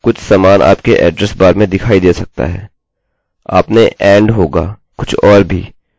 आपने and होगा कुछ और भी उदाहरणस्वरूप your name equals to kyle